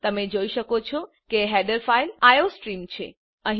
તમે જોઈ શકો છો કે હેડર ફાઈલ આઇઓસ્ટ્રીમ છે